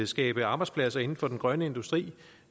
skabe arbejdspladser inden for den grønne industri